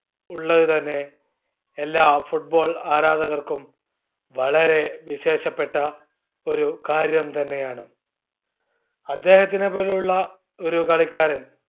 ഉള്ളത് തന്നെ എല്ലാ football ആരാധകർക്കും വളരെ വിശേഷപ്പെട്ട ഒരു കാര്യം തന്നെയാണ്. അദ്ദേഹത്തിനെപോലുള്ള ഒരു കളിക്കാരൻ